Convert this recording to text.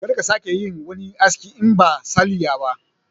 Kar ka sake ka yi wani aski in ba salliya ba